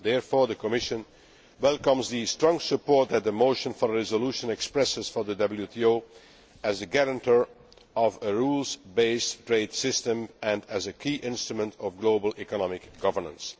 Therefore, the Commission welcomes the strong support that the motion for a resolution expresses for the WTO as the guarantor of a rules based trade system and as a key instrument of global economic governance.